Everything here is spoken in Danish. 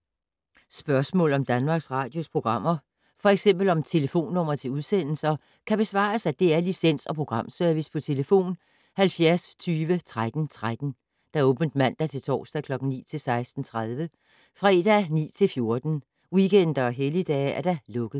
Spørgsmål om Danmarks Radios programmer, f.eks. om telefonnumre til udsendelser, kan besvares af DR Licens- og Programservice: tlf. 70 20 13 13, åbent mandag-torsdag 9.00-16.30, fredag 9.00-14.00, weekender og helligdage: lukket.